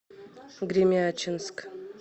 гремячинск